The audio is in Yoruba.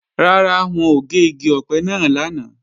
Rárá, wọn ò gé igi ọ̀pẹ náà lánàá